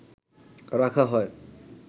রাখা হয়